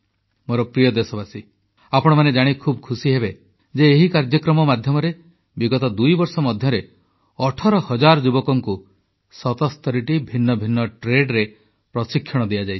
ମୋର ପ୍ରିୟ ଦେଶବାସୀ ଆପଣମାନେ ଜାଣି ଖୁବ୍ ଖୁସି ହେବେ ଯେ ଏହି କାର୍ଯ୍ୟକ୍ରମ ମାଧ୍ୟମରେ ବିଗତ ଦୁଇବର୍ଷ ମଧ୍ୟରେ 18 ହଜାର ଯୁବକଙ୍କୁ 77ଟି ଭିନ୍ନଭିନ୍ନ ଟ୍ରେଡରେ ପ୍ରଶିକ୍ଷଣ ଦିଆଯାଇଛି